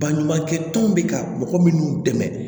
Baɲumankɛ tɔnw bɛ ka mɔgɔ minnu dɛmɛ